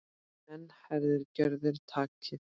Enn herðir gjörðin takið.